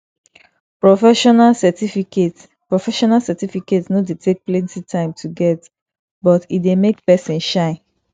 professional certificate professional certificate no dey take plenty time to get but e dey make pesin shine